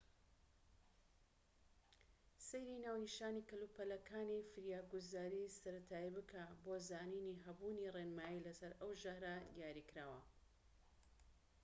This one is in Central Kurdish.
سەیری ناونیشانی کەلوپەلەکانی فریاگوزاریی سەرەتایی بکە بۆ زانینی هەبوونی ڕێنمایی لەسەر ئەو ژەهرە دیاریکراوە